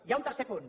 hi ha un tercer punt